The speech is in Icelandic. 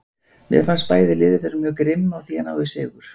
Mér fannst bæði lið vera mjög grimm á því að ná í sigur.